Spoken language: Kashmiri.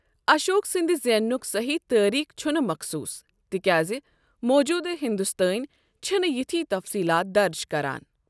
اشوک سٕنٛدِ زینُک صحیح تٲریٖخ چھُنہٕ مَخصوس، تِکیازِ موجودٕ ہندوستٲنۍ چھِنہٕ یِتھۍ تفصیلات درج کران۔